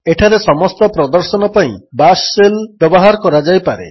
ଏଠାରେ ସମସ୍ତ ପ୍ରଦର୍ଶନ ପାଇଁ ବାଶ୍ ସେଲ୍ ବ୍ୟବହାର କରାଯାଇପାରେ